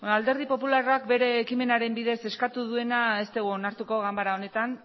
alderdi popularrak bere ekimenaren bidez eskatu duena ez dugu onartuko ganbara honetan